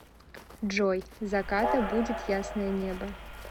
джой заката будет ясное небо